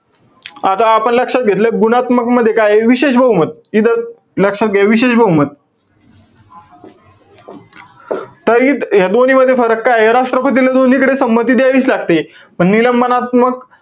आता आपण लक्षात घेतलं. गुणात्मक मध्ये काये? विशेष बहुमत. इथं ज~ लक्षात घ्या, विशेष बहुमत. तर इ~ या दोन्हीमध्ये फरक काये? राष्ट्रपतीला दोन्हीकडे संमती द्यावीच लागते. पण निलंबनात्मक,